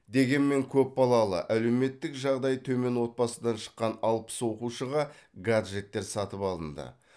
дегенмен көпбалалалы әлеуметтік жағдайы төмен отбасыдан шыққан алпыс оқушыға гаджеттер сатып алынды